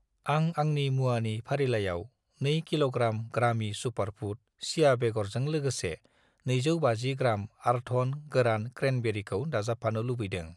आं आंनि मुवानि फारिलाइयाव 2 कि.ग्रा. ग्रामि सुपारफुड चिया बेगरजों लोगोसे 250 ग्राम आर्थन गोरान क्रेनबेरिखौ दाजाबफानो लुबैदों।